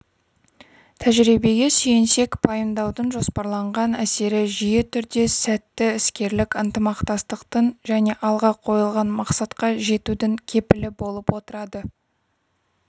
тәжірибеге сүйенсек пайымдаудың жоспарланған әсері жиі түрде сәтті іскерлік ынтымақтастықтың және алға қойылған мақсатқа жетудің кепілі болып отырады